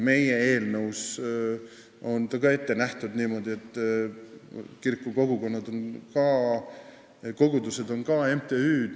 Meie eelnõus on ka niimoodi ette nähtud, et kiriku kogudused on MTÜ-d.